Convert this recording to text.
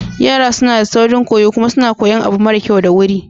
Yara suna da saurin koyo kuma suna koyan abu mara kyau da wuri.